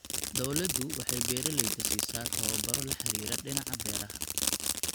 Dawladdu waxay beeralayda siisaa tababaro la xidhiidha dhinaca beeraha.